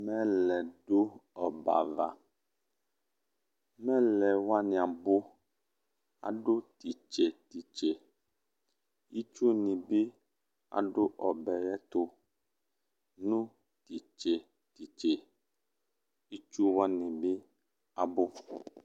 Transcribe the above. Mɛlɛ dʋ ɔbɛ ava Mɛlɛ wanɩ abʋ Adʋ tʋ itse tʋ itse Itsunɩ bɩ adʋ ɔbɛ yɛ tʋ nʋ tʋ itse tʋ itse Itsu wanɩ bɩ abʋ